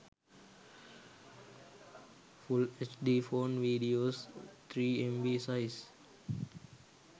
full hd phone videos 3mb size